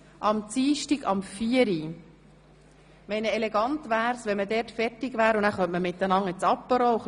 Es wäre elegant, wenn wir bis dann mit den Geschäften fertig wären und uns beim Apéro Zeit lassen könnten.